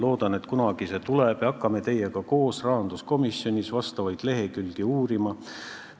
Loodan, et see kunagi tuleb, ja siis hakkame rahanduskomisjonis koos teiega vastavaid lehekülgi uurima.